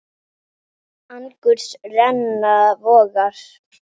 Angurs renna vogar.